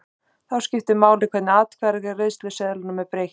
Þá skiptir máli hvernig atkvæðaseðlinum er breytt.